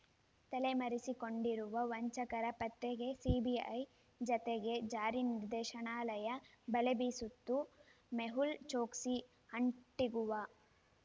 ತಲೆಮರೆಸಿಕೊಂಡಿರುವ ವಂಚಕರ ಪತ್ತೆಗೆ ಸಿಬಿಐ ಜತೆಗೆ ಜಾರಿನಿರ್ದೇಶನಾಲಯ ಬಲೆ ಬೀಸಿತ್ತು ಮೆಹುಲ್ ಚೊಕ್ಸಿ ಆಂಟಿಗುವಾ